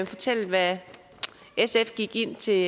fortælle hvad sf gik ind til